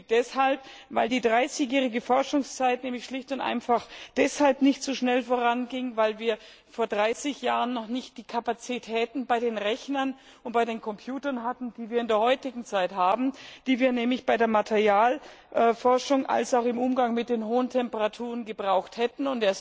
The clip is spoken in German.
Deshalb stutzig, weil die 30jährige Forschung schlicht und einfach deshalb nicht so einfach voranging, weil wir vor 30 Jahren noch nicht die Kapazitäten bei den Rechnern und den Computern hatten, die wir in der heutigen Zeit haben, die wir nämlich sowohl bei der Materialforschung als auch im Umgang mit den hohen Temperaturen gebraucht hätten.